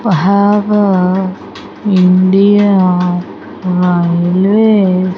have a india --